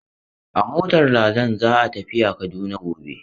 A motar Ladan za a tafiya Kaduna gobe.